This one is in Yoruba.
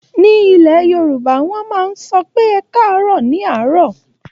Ní ilẹ̀ Yorùbá, wọ́n máa ń sọ pé "ẹkáàárọ̀" ní àárọ̀.